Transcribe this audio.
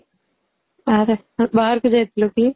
ଆରେ ଆଉ ବାହାରକୁ ଯାଇ ଥିଲୁ କି?